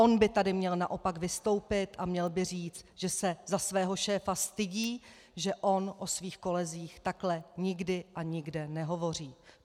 On by tady měl naopak vystoupit a měl by říci, že se za svého šéfa stydí, že on o svých kolezích takhle nikdy a nikde nehovoří.